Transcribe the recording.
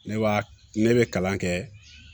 Ne b'a ne bɛ kalan kɛ